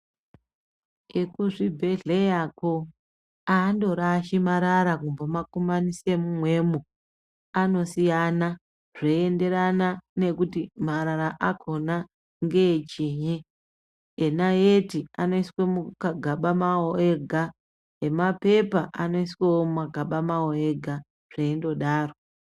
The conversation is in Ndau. Ekuzvibhehleyako andorashi marara kumbomakumanise mumwemo. Anosiyana zveienderana kuti marara akhona ngeechinyi. Enayeti anoiswa mumagaba awo ega, emapepa anoiswa mumagaba awo ega zveindodaro.